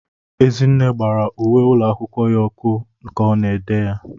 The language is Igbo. Ezinne gbara uwe ụlọ akwụkwọ ya ọkụ ka ọ na-ede ya.